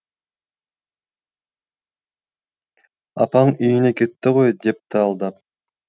апаң үйіне кетті ғой депті алдап